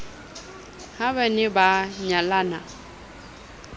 ha ba ne ba nyalana